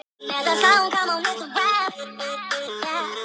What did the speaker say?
Ég þoli þær ekki.